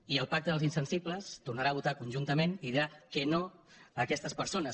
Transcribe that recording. i el pacte dels insensibles tornarà a votar conjuntament i dirà que no a aquestes persones